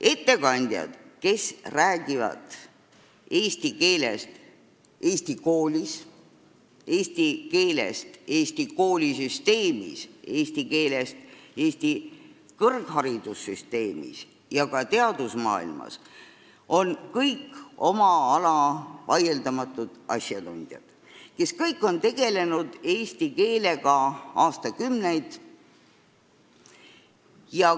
Ettekandjad, kes räägivad eesti keelest Eesti koolis, eesti keelest Eesti koolisüsteemis, eesti keelest Eesti kõrgharidussüsteemis ja ka teadusmaailmas, on kõik vaieldamatult oma ala asjatundjad, nad on tegelenud eesti keelega aastakümneid.